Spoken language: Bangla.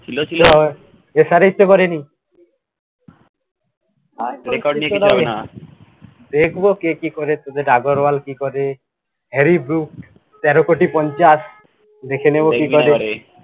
ই তো করেনি, record দিয়ে কিচ্ছু হবেনা, দেখবো কে কি করে তোদের agarwal কি করে harry brook তেরো কোটি পঞ্চাশ দেখেনিব কি করে